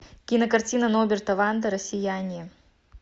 кинокартина норберта вандера сияние